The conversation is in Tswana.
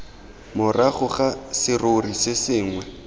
morago ga serori se sengwe